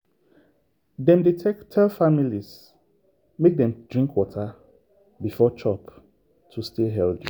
dem dey tell families make dem dey drink water before chop to stay healthy.